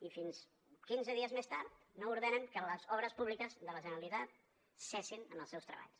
i fins quinze dies més tard no ordenen que les obres públiques de la generalitat cessin en els seus treballs